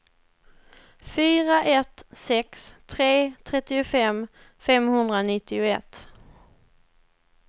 fyra ett sex tre trettiofem femhundranittioett